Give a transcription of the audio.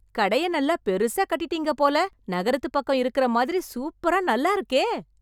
கடய நல்லா பெருசா கட்டிட்டீங்க போல... நகரத்துப்பக்கம் இருக்கற மாதிரி சூப்பரா நல்லாருக்கே...